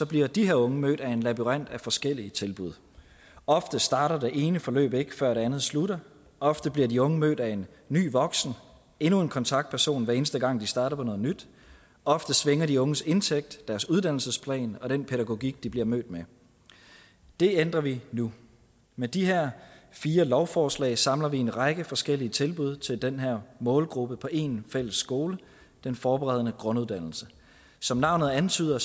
bliver de her unge mødt af en labyrint af forskellige tilbud ofte starter det ene forløb ikke før det andet slutter ofte bliver de unge mødt af en ny voksen endnu en kontaktperson hver eneste gang de starter på noget nyt ofte svinger de unges indtægt deres uddannelsesplan og den pædagogik de bliver mødt med det ændrer vi nu med de her fire lovforslag samler vi en række forskellige tilbud til den her målgruppe på én fælles skole den forberedende grunduddannelse som navnet antyder